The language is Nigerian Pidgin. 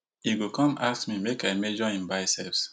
e go come ask me make i measure him biceps